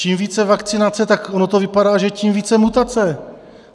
Čím více vakcinace, tak ono to vypadá, že tím více mutace.